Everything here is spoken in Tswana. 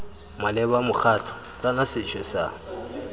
maleba mokgatlho kana sethwe sa